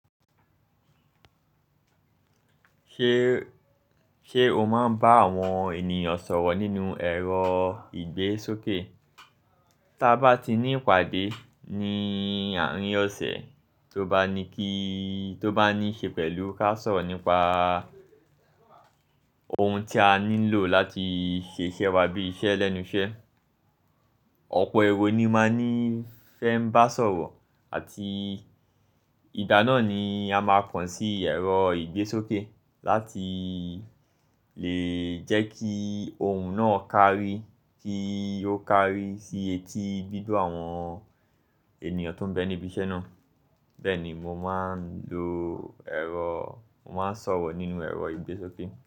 Ṣe o máa ń bá àwọn ènìyàn sọ̀rọ̀ nínú ẹ̀rọ ìgbésókè? Tí a bá ti ní ìpàdé ní àárín ọ̀sẹ̀, tó bá ní kí, tó bá ní ṣe pẹ̀lú ká sọ̀rọ̀ nípa ohun tí a nílò láti ṣe iṣẹ́ wa bí i iṣẹ́ lẹ́nu iṣẹ́, ọ̀pọ̀ èrò ni máa ní fẹ́ ń bá sọ̀rọ̀ àti ìgbáná ni a máa kọ̀n sí ẹ̀rọ ìgbésókè láti lè jẹ́ kí ohun náà kárí, kí ó kárí sí etí, gbígbo àwọn ènìyàn tó ń bẹ níbi iṣẹ́ náà. Bẹ́ẹ̀ ni mo máa ń lo ẹ̀rọ, mo máa ń sọ̀rọ̀ nínú ẹ̀rọ ìgbésókè.